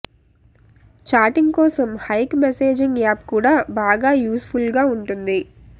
chatting కోసం Hike messaging app కూడా బాగా యూస్ ఫుల్ గా ఉంటుంది